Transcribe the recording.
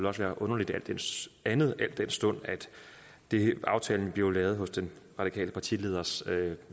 også være underligt andet al den stund at aftalen blevet lavet på den radikale partileders